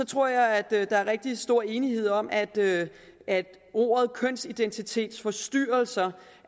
tror jeg at der er rigtig stor enighed om at at ordet kønsidentitetsforstyrrelser